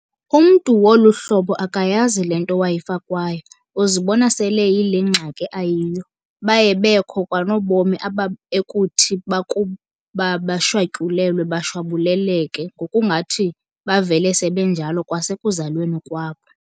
Umntu wolu hlobo akayazi le nto wayifakwayo, uzibona sel'eyile ngxaki ayiyo. Baye bekho kanobomi aba ekuthi bakuba beshwatyulelwe bashwabuleleke, ngokungathi bavele sebenjalo kwasekuzalweni kwabo.